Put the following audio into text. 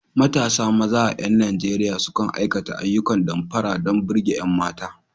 Matasa maza a ƴan Nijeriya sukan aikata ayyukan damfara don burge ƴan mata.